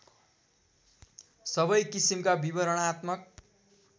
सबै किसिमका विवरणात्मक